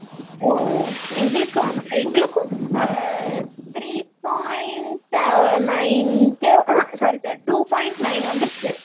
ஓ எங்களுக்கும் எங்களுக்கு three point nine k sorry sorry two point nine வந்துருச்சு